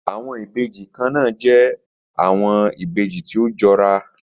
Awọn ibeji kanna jẹ awọn ibeji ti o jọra